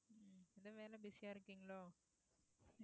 உம் busy ஆ இருக்கீங்களோ